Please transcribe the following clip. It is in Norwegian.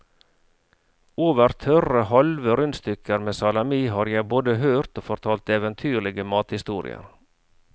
Over tørre halve rundstykker med salami har jeg både hørt og fortalt eventyrlige mathistorier.